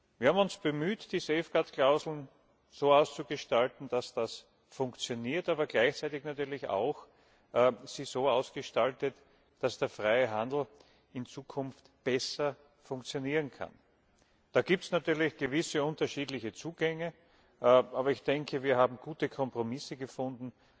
Wir haben uns bemüht, die Safeguard Klauseln so auszugestalten, dass das funktioniert, sie aber gleichzeitig natürlich auch so ausgestaltet, dass der freie Handel in Zukunft besser funktionieren kann. Da gibt es natürlich gewisse unterschiedliche Zugänge, aber ich denke, wir haben gute Kompromisse gefunden,